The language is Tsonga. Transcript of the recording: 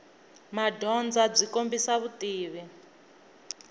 madyondza byi kombisa vutivi